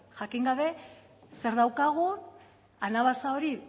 jakin gabe zer daukagun anabasa hori